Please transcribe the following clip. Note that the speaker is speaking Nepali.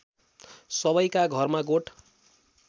सबैका घरमा गोठ